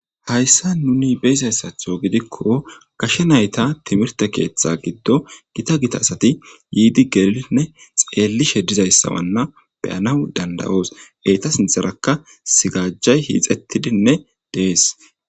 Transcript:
Hayssan nuun beyzayssaththo gidikko gaashshe naytta timihirte keththa giddon gita gita asati yiidi beyidinne xellishe dizayss bolla beyanaw dandayos eeta sinththarakka mazagajay hixettidinne De'es